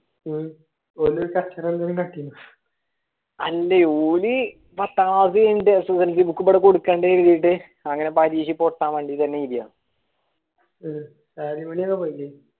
അല്ല ഓർ പഥത്തെ class കൈനീട്ട സുവർജി book കൊടുക്കെണ്ടെ കരുതീട്ട് അങ്ങനെ പരീക്ഷക്ക് പൊട്ടൻ വേണ്ടിയെന്ന് എയ്താണ്